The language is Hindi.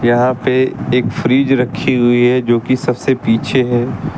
यहां पे एक फ्रिज रखी हुई है जो कि सबसे पीछे है।